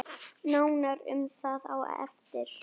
Nánar um það á eftir.